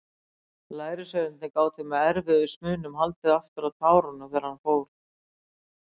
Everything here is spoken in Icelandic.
Lærisveinarnir gátu með erfiðismunum haldið aftur af tárunum þar til hann fór.